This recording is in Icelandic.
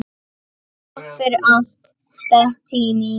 Takk fyrir allt, Bettý mín.